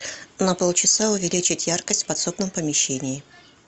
на полчаса увеличить яркость в подсобном помещении